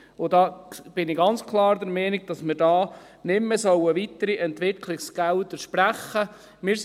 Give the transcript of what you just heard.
Und ich bin ganz klar der Meinung, dass wir da nicht mehr weitere Entwicklungsgelder sprechen sollten.